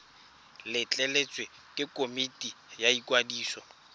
letleletswe ke komiti ya ikwadiso